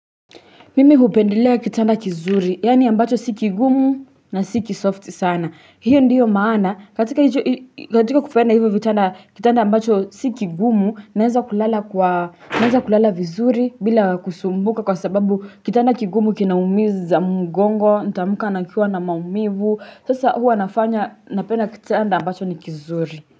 Mimi hupendelea kitanda kizuri, yaani ambacho si kigumu na si kisoft sana. Hiyo ndiyo maana, katika kupenda hivyo vitanda kitanda ambacho si kigumu, naeza kulala vizuri bila kusumbuka kwa sababu kitanda kigumu kinaumiza mgongo, ntaamka nikiwa na maumivu, sasa huwa inafanya napenda kitanda ambacho ni kizuri.